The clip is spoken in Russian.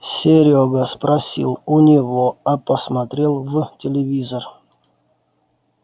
серёга спросил у него а посмотрел в телевизор